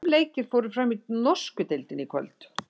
Fimm leikir fóru fram í norsku deildinni í kvöld.